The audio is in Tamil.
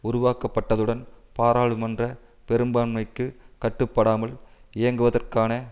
உருவாக்கப்பட்டதுடன் பாராளுமன்ற பெரும்பான்மைக்கு கட்டுப்படாமல் இயங்குவதற்கான